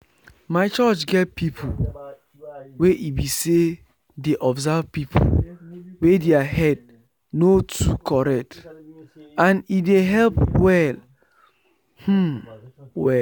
my church get people wey e be say dey observe people wey their head no too correct and e dey help well um well